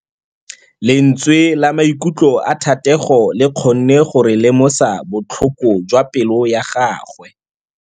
Lentswe la maikutlo a Thategô le kgonne gore re lemosa botlhoko jwa pelô ya gagwe.